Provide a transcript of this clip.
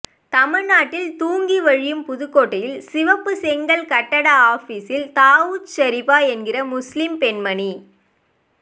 தமிழ்நாட்டில் தூங்கி வழியும் புதுகோட்டையில் சிவப்பு செங்கல் கட்டட ஆபீசில் தாவூத் ஷரீபா என்கிற முஸ்லிம் பெண்மணி